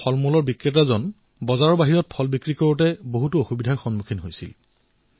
যদি তেওঁ বজাৰৰ বাহিৰত নিজৰ ফল আৰু শাকপাচলি বিক্ৰী কৰিছিল তেতিয়া তেওঁৰ ফলভৰ্তি বাহন জব্দ কৰা হৈছিল